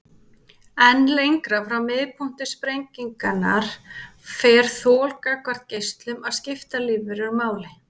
En lengra frá miðpunkti sprengingarinnar fer þol gagnvart geislun að skipta lífverur máli.